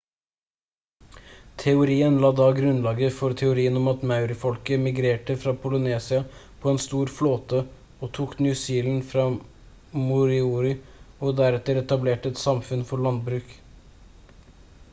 teorien la da grunnlaget for teorien om at maori-folket migrerte fra polynesia på en stor flåte og tok new zealand fra moriori og deretter etablerte et samfunn for landbruk